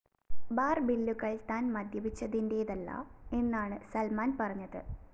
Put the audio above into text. ബാര്‍ബില്ലുകള്‍ താന്‍ മദ്യപിച്ചതിന്‍േറതല്ല എന്നാണ് സല്‍മാന്‍ പറഞ്ഞത്